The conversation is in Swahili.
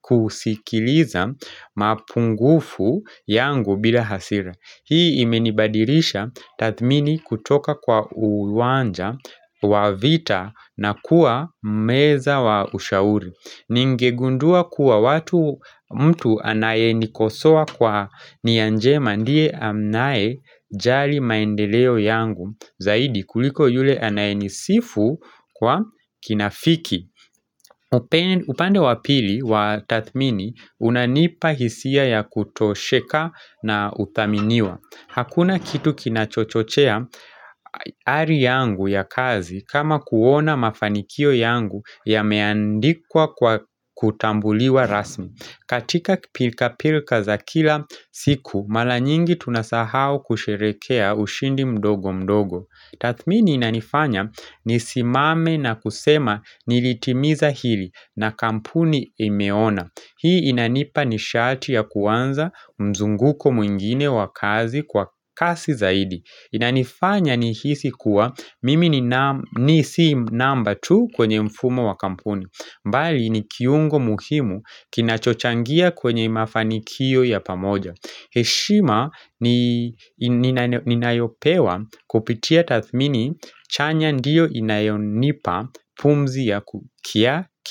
kusikiliza mapungufu yangu bila hasira Hii imenibadirisha tathmini kutoka kwa uwanja wa vita na kuwa meza wa ushauri Ningegundua kuwa watu mtu anayenikosoa kwa niyanjema ndiye anaye jali maendeleo yangu Zaidi kuliko yule anayenisifu kwa kinafiki upande wapili wa tathmini unanipa hisia ya kutosheka na uthaminiwa Hakuna kitu kinachochochea hari yangu ya kazi kama kuona mafanikio yangu ya meandikwa kwa kutambuliwa rasmi katika pilka pilka za kila siku mara nyingi tunasahau kusherekea ushindi mdogo mdogo Tathmini inanifanya ni simame na kusema nilitimiza hili na kampuni imeona Hii inanipa ni shati ya kuanza mzunguko mwingine wa kazi kwa kasi zaidi. Inanifanya nihisi kuwa mimi ni ni si number two kwenye mfumo wa kampuni. Mbali ni kiungo muhimu kinachochangia kwenye mafanikio ya pamoja. Heshima ni ninayopewa kupitia tathmini chanya ndiyo inayonipa pumzi ya kukia kili.